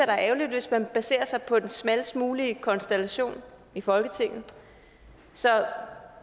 er ærgerligt hvis man baserer sig på den smallest mulige konstellation i folketinget så